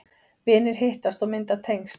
Vinir hittast og mynda tengsl